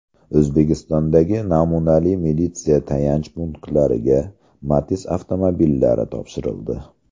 O‘zbekistondagi namunali militsiya tayanch punktlariga Matiz avtomobillari topshirildi.